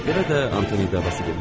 Elə də Antonitava.